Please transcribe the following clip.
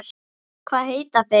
Hvað heita þeir?